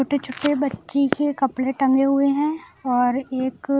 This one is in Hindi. छोटे छोटे बच्ची के कपड़े टंगे हुए हैं और एक--